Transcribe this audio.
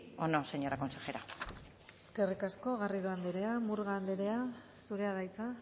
o no señora consejera eskerrik asko garrido andrea murga andrea zurea da hitza